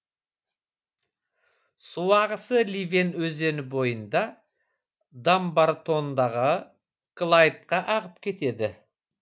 су ағысы ливен өзені бойында дамбартондағы клайдқа ағып кетеді